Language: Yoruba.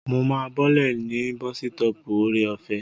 Mo máa bọ́lẹ̀ ní bọ́sítọ̀ọ̀pù Ore-ọ̀fẹ́